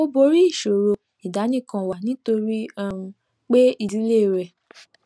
ó borí ìṣòro àdánìkànwà nítorí um pé ìdílé rè